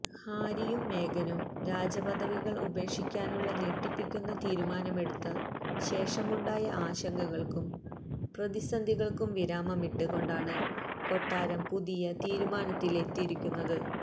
ഹാരിയും മേഗനും രാജപദവികൾ ഉപേക്ഷിക്കാനുള്ള ഞെട്ടിപ്പിക്കുന്ന തീരുമാനമെടുത്ത ശേഷമുണ്ടായ ആശങ്കകൾക്കും പ്രതിസന്ധികൾക്കും വിരാമമിട്ട് കൊണ്ടാണ് കൊട്ടാരം പുതിയ തീരുമാനത്തിലെത്തിയിരിക്കുന്നത്